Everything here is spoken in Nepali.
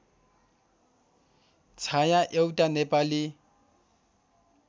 छाया एउटा नेपाली